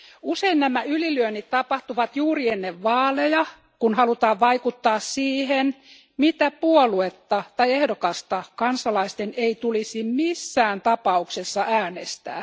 Usein nämä ylilyönnit tapahtuvat juuri ennen vaaleja, kun halutaan vaikuttaa siihen, mitä puoluetta tai ehdokasta kansalaisten ei tulisi missään tapauksessa äänestää.